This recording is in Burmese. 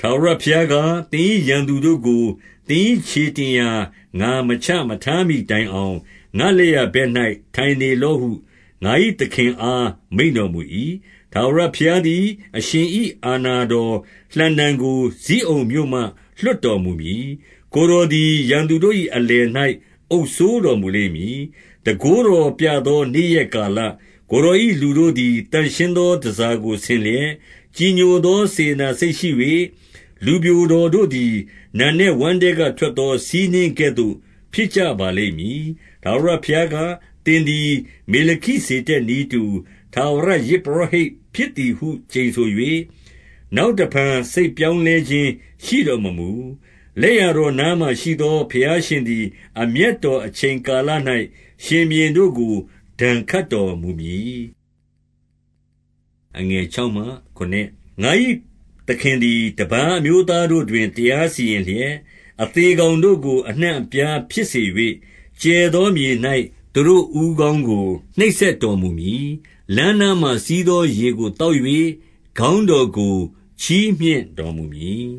ထာဝရဘုရားက၊ သင်၏ ရန်သူတို့ကို သင်၏ ခြေတင်ရာ၊ ငါမချထားမှီတိုင်အောင်၊ ငါ့လက်ျာဘက်၌ ထိုင်နေလော့ဟု ငါ၏သခင်အား မိန့်တော်မူ၏။ 2 ထာဝရဘုရားသည် အရှင်၏ အာဏာတော် လှံတံကို ဇိအုန်မြို့မှ လွှတ်တော်မူမည်။ ကိုယ်တော်သည် ရန်သူတို့၏အလယ်၌ အုပ်စိုးတော်မူလိမ့်မည်။ 3 တန်ခိုးတော်ပြသော နေ့ရက်ကာလ၌၊ ကိုယ်တော်၏ လူတို့သည် သန့်ရှင်းသော တန်ဆာကို ဆင်လျက်၊ ကြည်ညိုသော စေတနာစိတ်ရှိ၍၊ လူပျိုတော် တို့သည် နံနက်ဝမ်းထဲကထွက်သော ဆီးနှင်းကဲ့သို့ ဖြစ်ကြပါလိမ့်မည်။ 4 ထာဝရဘုရားက၊ သင်သည် မေလခိဇေဒက် နည်းတူ ထာဝရယဇ်ပုရောဟိတ်ဖြစ်သည်ဟု ကျိန်ဆို၍၊ နောက်တဖန်စိတ်ပြောင်းလဲခြင်း ရှိတော်မမူ။ 5 လက်ျာတော်နားမှာ ရှိသောဘုရားရှင်သည် အမျက်တော် အချိန်ကာလ၌ ရှင်ဘုရင်တို့ကို ဒဏ်ခတ် တော်မူမည်။ 6 ငါ၏သခင်သည် တပါးအမျိုးသားတို့တွင် တရား စီရင်လျက်၊ အသေကောင်တို့ကို အနှံ့အပြားဖြစ်စေ၍၊ ကျယ်သောမြေ၌ သူတို့ဦးခေါင်းကို နှိပ်စက်တော်မူမည်။ 7 လမ်းနားမှာ စီးသောရေကိုသောက်၍၊ ခေါင်း တော်ကို ချီးမြှင့်တော်မူမည်